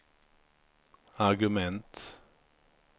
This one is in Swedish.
argument